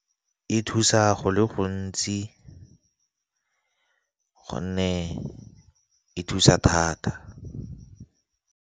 E thusa go le gontsi gonne e thusa thata.